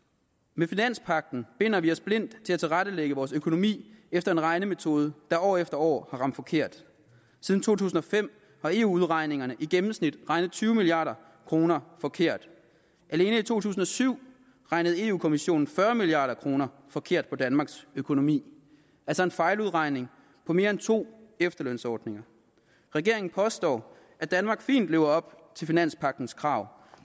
med finanspagten binder vi os blindt til at tilrettelægge vores økonomi efter en regnemetode der år efter år har ramt forkert siden to tusind og fem har eu udregningerne i gennemsnit regnet tyve milliard kroner forkert alene i to tusind og syv regnede europa kommissionen fyrre milliard kroner forkert på danmarks økonomi altså en fejludregning på mere end to efterlønsordninger regeringen påstår at danmark fint lever op til finanspagtens krav